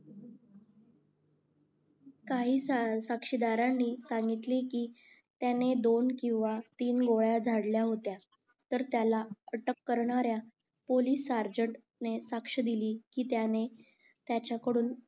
काही साक्षीदारांनी सांगितले कि त्यांनी दोन किंवा तीन गोळ्या झाडल्या होत्या तर त्याला अटक करणाऱ्या पोलीस साक्ष दिली कि त्याने त्याच्याकडून